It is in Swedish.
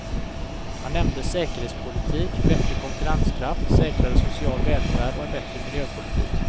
Han nämnde säkerhetspolitik, bättre konkurrenskraft, säkrare social välfärd och en bättre miljöpolitik.